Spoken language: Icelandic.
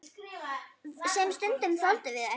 Sem stundum þoldu ekki við.